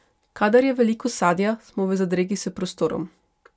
Kadar je veliko sadja, smo v zadregi s prostorom.